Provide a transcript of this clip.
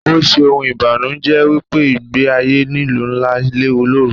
Ó ṣe ohun ìbanuje wípé ìgbẹ́ ayé ìlú ńlá léwu lóru.